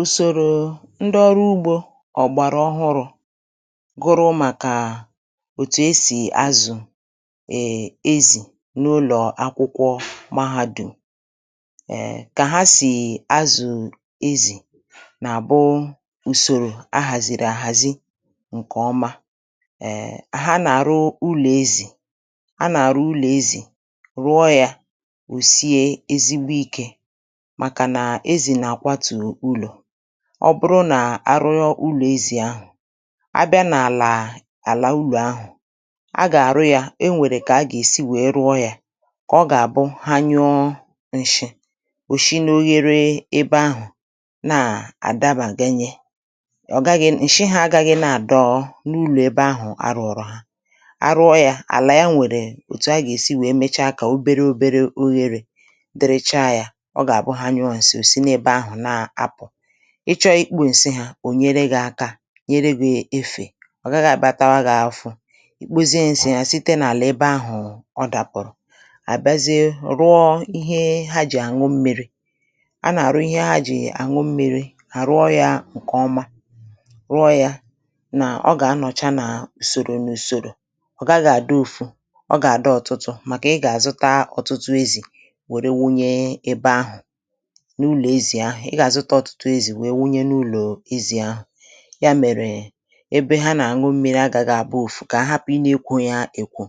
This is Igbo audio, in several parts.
Ùsòrò ndị ọrụ ugbȯ ọ̀gbàrà ọhụrụ̇, gụrụ màkà òtù e sì azụ̀ um ezi n’ụlọ̀ akwụkwọ mahàdụ̀ m, um kà ha sì azụ̀ ezì nà-àbụ usòrò a hazìrì àhazi ǹkèọma um ha nà-arụ ụlọ̀ ezì a nà-àrụ ụlọ̀ ezì, rụọ yȧ, osie ezigbo ike, màkà na ezi na akwatu ụlọ, ọ bụrụ nà arụọ ụlọ̀ ezì ahụ̀, a bịa n’àlà àlà ụlọ̀ ahụ̀ a gà-àrụ yȧ e nwèrè kà a gà-èsi wèe rụọ yȧ kà ọ gà-àbụ ha nyụọ ǹshị ò shi n’oghere ebe ahụ̀ na-àdabàganye, ọ̀ gaghị ǹshị hȧ agȧghị na-àdọọ n’ụlọ̇ ebe ahụ̀ arụ̀ ọ̀rọ̀ ha, arụọ yȧ àlà ya nwèrè òtù a gà-èsi wèe mecha kà obere obere oghere dịrị chá ya oga-abụ ha nyuo ǹshi osi na ébé áhù na apụ, ịchọ̇ ikpė ǹsị hȧ ò nyere gị̇ aka nyere gị̇ efè ọ̀ gaghị àbịa tawa gị̇ ȧfufu, ikpozie ǹsị ya site nà-àlà ebe ahụ̀ ọ dàpụ̀rụ̀, àbịazie rụọ ihe ha jì àṅụ mmi̇ri̇, a nà-àrụ ihe ha jì àṅụ mmi̇ri̇, à rụọ yȧ ǹkè ọma, rụọ yȧ nà ọ gà-anọ̀cha nà ùsòrò n’ùsòrò ọ̀ gàgà-àdị ofụ̇ ọ gà-àdị ọ̀tụtụ màkà ị gà-àzụta ọ̀tụtụ ezì wère wunye ebe ahụ̀, n'ụlọ ezi ahụ, i gà-àzụta ọtụtụ ezì nwèe wunye n’ụlọ̀ ezì ahụ̀, ya mèrè ebe ha nà-àṅụ mmiri agȧgȧ àbụ ọfụ̀ kà àhapụ̀ ina ekwoyȧ èkwò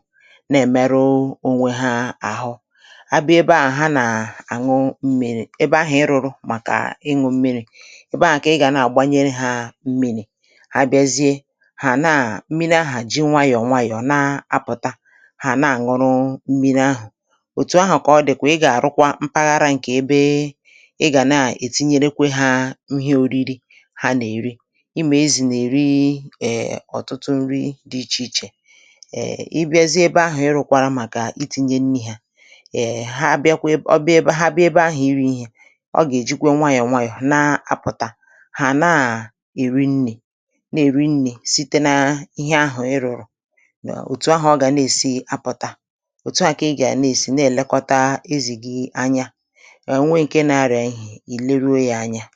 nà-èmeru onwe ha àhụ, abịa ebe àhụ ha nà-àṅụ mmi̇ri̇, ebe ahụ̀ ị rụ̇rụ màkà ịṅụ̇ mmiri̇, ebe ahụ̀ kà ị gà na-àgbanyere hȧ mmiri̇, hȧ bịazie hà na-àṅụ mmiri ahụ̀ ji nwayọ̀ nwayọ̀ na-apụ̀ta hà na-àṅụrụ mmiri ahụ̀, òtù ahụ̀ kà ọ dị̀ kà ị gà-àrụkwa mpaghara ǹkè ebe iga nȧ ètinyerekwe hȧ ihe ȯri̇ri̇ ha nà-èri, ima ezì nà-èri ọ̀tụtụ nri dị̇ ichè ichè um ị bịazi ebe ahụ̀ i rụ̇kwara màkà iti̇nye nri̇ hȧ, è ha abịakwa ọbịa ebe ha abịa ebe ahụ̀ iri̇ i̇hè ọ gà-èjikwa nwayọ̀ nwayọ̀ na-apụ̀tà hà naà eri nri na eri nri site na ihe ahụ̀ ị rụ̀rụ̀, òtù ahụ̀ ọ gà na-èsi apụ̀ta òtù ahụ̀ kà ị gà-àna-èsi na-èlekọta ezì gì anya, onwe nke na arịa ihe ìle ruo yȧ ȧnyȧ.